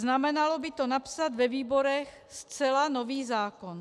Znamenalo by to napsat ve výborech zcela nový zákon.